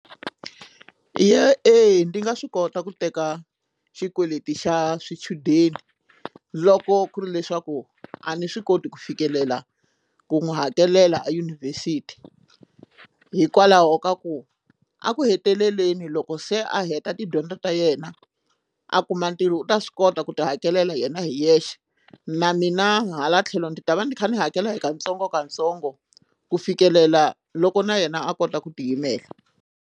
Ya eya ndzi nga swi kota ku teka xikweleti xa swichudeni loko ku ri leswaku a ni swi koti ku fikelela ku n'wi hakelela eyunivhesiti hikwalaho ka ku a ku heteleleni loko se a heta tidyondzo ta yena a kuma ntirho u ta swi kota ku ti hakelela hi yena hi yexe na mina hala tlhelo ndzi ta va ni kha ni hakela hi katsongokatsongo ku fikelela loko na yena a kota ku tiyimela.